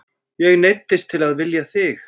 Ég neyddist til að vilja þig.